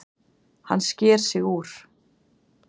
Hann sker sig úr.